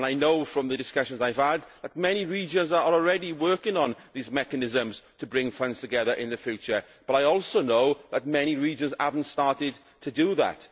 I know from the discussions I have had that many regions are already working on these mechanisms to bring funds together in the future, but I also know that many regions have not started to do that.